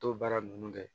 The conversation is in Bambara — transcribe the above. To baara nunnu kɛ